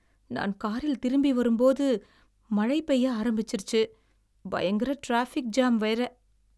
நான் காரில் திரும்பி வரும்போது, மழை பெய்ய ஆரம்பிச்சிருச்சு. பயங்கர டிராஃபிக் ஜாம் வேற.